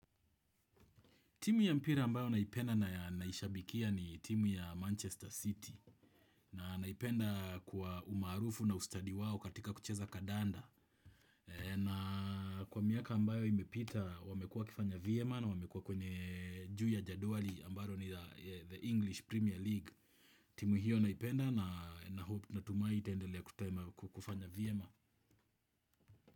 Timu ya mpira ambayo naipenda na naishabikia ni timu ya Manchester City. Na naipenda kwa umarufu na ustadi wao katika kucheza kadanda. Na kwa miaka ambayo imepita wamekua wakifanya vyema na wamekua kwenye juu ya jaduali ambalo ni the English Premier League. Timu hiyo naipenda na natumai itaendelea kufanya vyema.